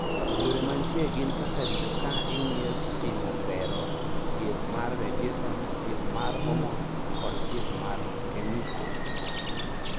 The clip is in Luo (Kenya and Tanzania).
Yore mantie gin kaka rito ka ing'iyo, timo bero, thieth mar radiason, thieth mar homon, kod thieth mar kemiko.